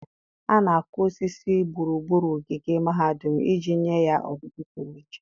A na-akụ osisi gburugburu ogige mahadum iji nye ya ọdịdị pụrụ iche.